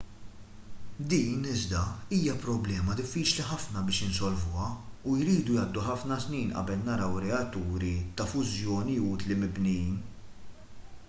din iżda hija problema diffiċli ħafna biex insolvuha u jridu jgħaddu ħafna snin qabel naraw reatturi ta' fużjoni utli mibnijin